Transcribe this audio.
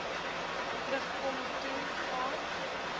terugkom toe gaan